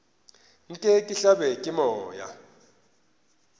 nke ke hlabje ke moya